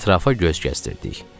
Ətrafa göz gəzdirdik.